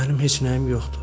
Mənim heç nəyim yoxdur.